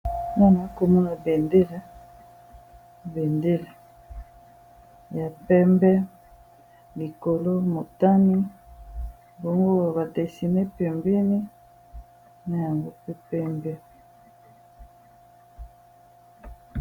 Awa namoni balakisi biso bendela eza nalangi ya pembe na ya motane nde yango tozomona awa